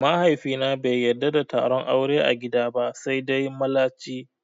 Mahaifina bai yadda da taron aure a gida ba sai dai mallaci